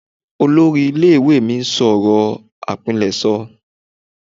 Olori ile iwe mi n sọ ọrọ apileso